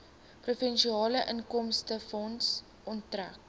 provinsiale inkomstefonds onttrek